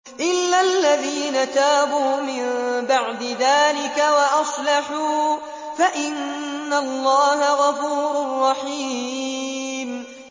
إِلَّا الَّذِينَ تَابُوا مِن بَعْدِ ذَٰلِكَ وَأَصْلَحُوا فَإِنَّ اللَّهَ غَفُورٌ رَّحِيمٌ